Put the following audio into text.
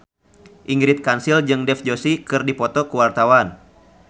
Ingrid Kansil jeung Dev Joshi keur dipoto ku wartawan